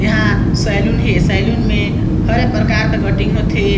यहाँ सैलून हे सैलून में हर प्रकार के कटिंग होथे।